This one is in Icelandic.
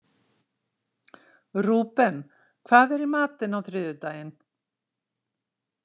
Rúben, hvað er í matinn á þriðjudaginn?